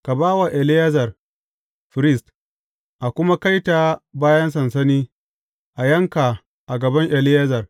Ka ba wa Eleyazar firist; a kuma kai ta bayan sansani, a yanka a gaban Eleyazar.